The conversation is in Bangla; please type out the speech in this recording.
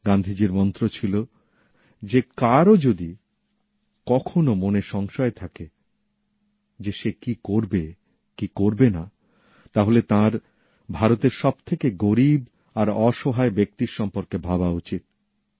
গান্ধীজির মন্ত্র ছিল যে কারও যদি কখনও মনে সংশয় থাকে যে সে কী করবে কী করবে না তাহলে তাঁর ভারতের সবথেকে গরীব আর অসহায় ব্যক্তির সম্পর্কে ভাবা উচিত